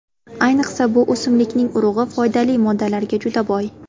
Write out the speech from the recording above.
Ayniqsa bu o‘simlikning urug‘i foydali moddalarga juda boy.